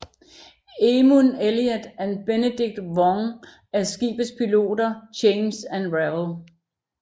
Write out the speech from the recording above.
Emun Elliott og Benedict Wong er skibets piloter Chance og Ravel